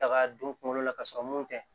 Taga don kunkolo la ka sɔrɔ mun tɛ